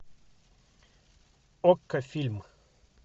окко фильм